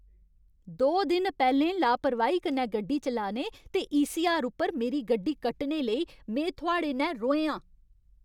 दो दिन पैह्लें लापरवाही कन्नै कार चलाने ते ईसीआर उप्पर मेरी गड्डी कट्टने लेई में थुआढ़े नै रोहें हा।